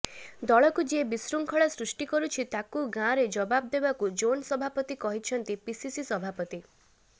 ଦଳକୁ ଯିଏ ବିଶୃଙ୍ଖଳା ସୃଷ୍ଟି କରୁଛି ତାକୁ ଗାଁରେ ଜବାବ ଦେବାକୁ ଜୋନ ସଭାପତି କହିଛନ୍ତି ପିସିସି ସଭାପତି